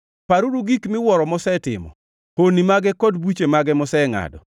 Paruru gik miwuoro mosetimo, honni mage kod buche mosengʼado,